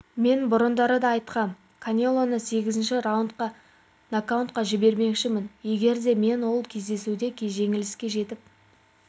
мен бұрындары да айтқам канелоны сегізінші раундта накаутқа жібермекшімін егер де мен ол кездесуде жеңіске жетіп